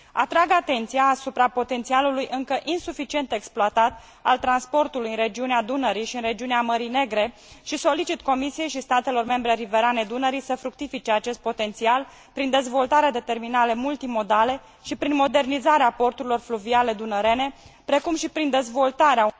Atrag atenția asupra potențialului încă insuficient exploatat al transportului în regiunea Dunării și în regiunea Mării Negre și solicit Comisiei și statelor membre riverane Dunării să fructifice acest potențial prin dezvoltarea de terminale multimodale și prin modernizarea porturilor fluviale dunărene, precum și prin dezvoltarea...